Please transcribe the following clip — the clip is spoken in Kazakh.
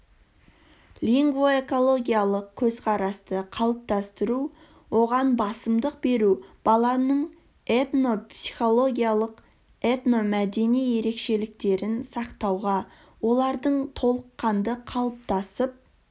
лингвоэкологиялық көзқарасты қалыптастыру оған басымдық беру баланың этнопсихологиялық этномәдени ерекшеліктерін сақтауға олардың толыққанды қалыптасып